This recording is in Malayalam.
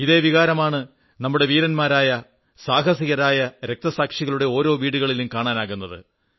ഇതേ വികാരമാണ് നമ്മുടെ വീരന്മാരായ സാഹസികരായ രക്തസാക്ഷികളുടെ ഓരോ വീടുകളിലും കാണാനാകുന്നത്